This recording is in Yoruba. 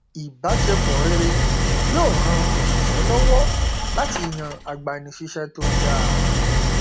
ìbáṣepọ rere yóò ran oṣìṣẹ lọwọ láti yàn agbanisíṣẹ tó dáa